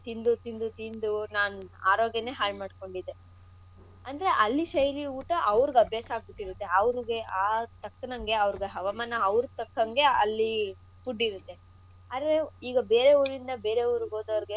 ತಿಂದು ತಿಂದು ನಾನ್ ಆರೋಗ್ಯನೇ ಹಾಳ್ಮಾಡ್ಕೊಂಡಿದ್ದೆ. ಅಂದ್ರೆ ಅಲ್ಲಿ ಶೈಲಿ ಊಟ ಅವ್ರ್ಗ್ ಅಭ್ಯಾಸ ಆಗ್ಬಿಟಿರತ್ತೆ ಅವ್ರ್ರಿಗೆ ಆ ತಕ್ಕನಂಗೆ ಅವ್ರಗ್ ಹವಾಮಾನ ಅವ್ರ್ಗೆ ತಕ್ಕಂಗೆ ಅಲ್ಲಿ food ಇರುತ್ತೆ ಅಂದ್ರೆ ಈಗ ಬೇರೆ ಊರಿಂದ ಬೇರೆ ಊರಿಗ್ಹೋದೌರ್ಗೆ.